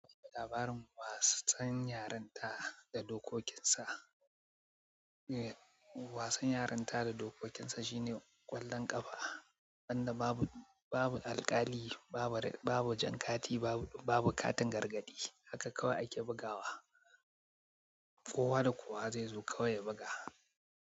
Labarin wasan yarinta da dokokin sa, eh wasan yarinta da dokokin sa shine ƙwallon ƙafa. Wanda babu, babu alƙali, babu, babu jan kati, babu, babu katin gargadi, haka kawai ake bugawa. Kowa da kowa zai zo kawai ya buga.